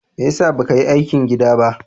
Me ya sa ba ka yi aikin gida ba?